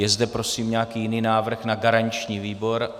Je zde prosím nějaký jiný návrh na garanční výbor?